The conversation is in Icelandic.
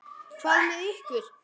Hvað með ykkur?